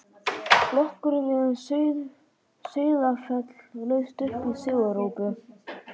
Flokkurinn við Sauðafell laust upp sigurópi.